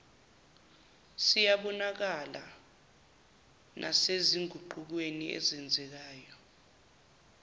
ziyabonakala nasezinguqukweni ezenzekayo